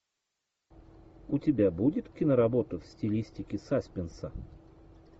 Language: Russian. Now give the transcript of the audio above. у тебя будет киноработа в стилистике саспенса